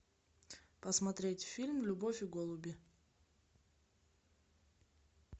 посмотреть фильм любовь и голуби